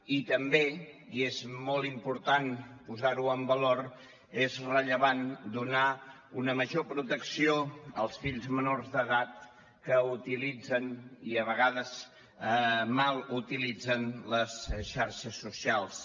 i també i és molt important posar ho en valor és rellevant donar una major protecció als fills menors d’edat que utilitzen i a vegades mal utilitzen les xarxes socials